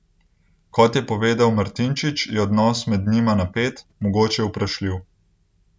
Kot je povedal Martinčič, je odnos med njima napet, mogoče vprašljiv.